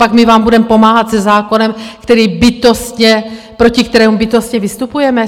Copak my vám budeme pomáhat se zákonem, který bytostně - proti kterému bytostně vystupujeme?